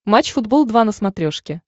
матч футбол два на смотрешке